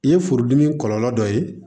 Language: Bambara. I ye furudimi kɔlɔlɔ dɔ ye